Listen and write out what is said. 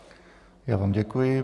Já vám děkuji.